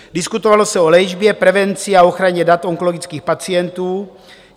Diskutovalo se o léčbě, prevenci a ochraně dat onkologických pacientů.